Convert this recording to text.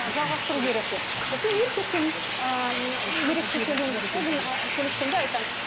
ы жалғастыру керек деп сосын еркекпен ыыы ерекше сөйлеймін онымен ы сөйлескенде айтамын